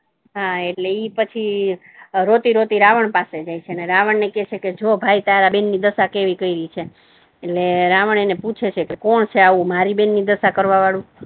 હા એટલે ઈ પછી રોતી રોતી રાવણ પાસે જાય છે અને રાવણ ને કહે છે કે ઓ ભાઈ તારા બહેન ની દશા કેવી થઈ રહી છે ને રાવણ એને પૂછે છે કે કોણ છે આવુ કે મારી બહેન નો દશા કરવા વાળુ?